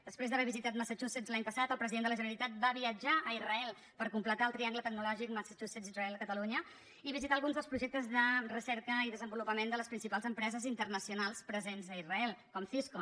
després d’haver visitat massachu setts l’any passat el president de la generalitat va viatjar a israel per completar el triangle tecnològic massachusetts israel catalunya i visità alguns dels projectes de recerca i desenvolupament de les principals empreses internacionals presents a israel com cisco